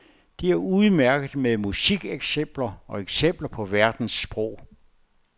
Det er udmærket med musikeksempler og eksempler på verdens sprog.